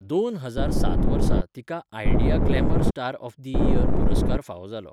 दोन हजार सात वर्सा तिका Idea glamour star of the year पुरस्कार फावो जालो.